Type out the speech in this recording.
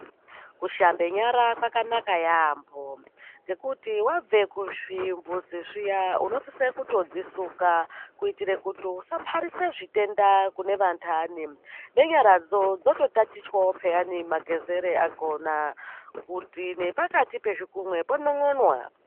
Kushambe nyara kwakanaka yambo nge kuti wabve kuzviimbuzi unosiso kudzisuka kuti usa parise zvitenda kune vandani nenyaradzo dzoto tatichwawo peyani magezero akona kuti nepakati pezvigunwe ponon'ona.